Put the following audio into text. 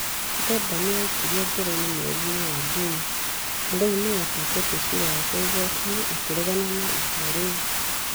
Bemba nĩ aaikirio njera mweri-inĩ wa Juni na rĩu nĩ acoketie cira wake igoti-inĩ akĩregana na itua rĩu.